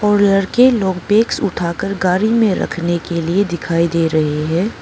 और लड़के लोग बैग्स उठाकर गाड़ी में रखने के लिए दिखाई दे रहे है।